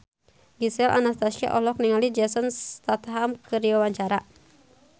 Gisel Anastasia olohok ningali Jason Statham keur diwawancara